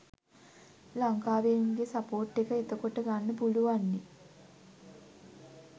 ලංකාවේ උන්ගේ සපෝර්ට් එක එතකොට ගන්න පුළුවන්නේ